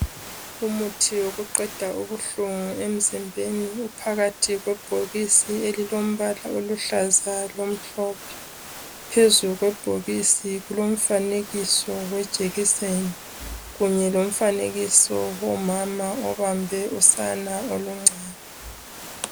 Umuthi wokuqeda ubuhlungu emzimbeni, uphakathi kwebhokisi elilombala oluhlaza lomhlophe. Phezulu kwebhokisi kulomfanekiso wejekiseni kunye lomfanekiso womama obambe usana oluncane.